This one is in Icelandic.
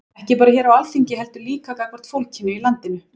Ekki bara hér á Alþingi heldur líka gagnvart fólkinu í landinu?